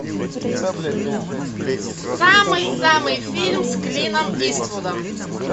самый самый фильм с клином иствудом